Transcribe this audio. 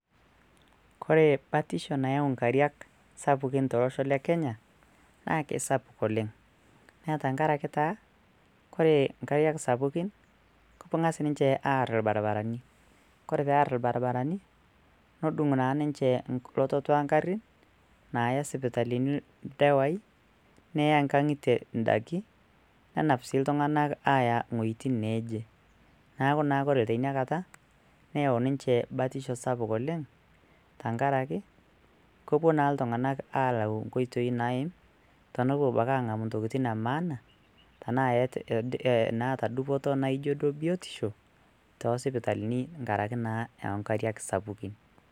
kore batisho nayau inkariak sapukin tolosho le kenya naa kisapuk oleng naa tenkarake taa ore inkariak sapukin keng'as ninche arr irbarabarani kore pearr irbarabarani nodung' naa ninche lototo ongarrin naya isipitalini ildewai neya nkang'itie indaki nenap sii iltung'anak aaya ing'oitin neje naaku naa kore tinakata neyau ninche batisho sapuk oleng tenkaraki kopuo naa iltung'anak alau nkoitei naim tonopuo abaki ang'amu ntokitin e maana tenaa naata dupoto naijo duo biotisho tosipitalini nkarake naa inkariak sapukin.